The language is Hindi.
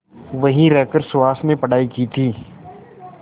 वहीं रहकर सुहास ने पढ़ाई की थी